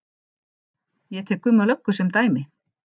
Ég tek Gumma löggu sem dæmi.